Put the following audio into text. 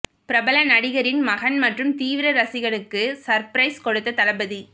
பிரபல நடிகரின் மகன் மற்றும் தீவிர ரசிகனுக்கு சர்பிரைஸ் கொடுத்த தளபதி